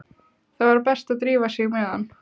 Það var best að drífa sig með hann.